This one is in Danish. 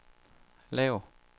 lav